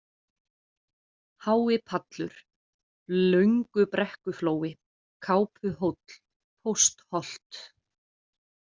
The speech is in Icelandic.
Háipallur, Löngubrekkuflói, Kápuhóll, Póstholt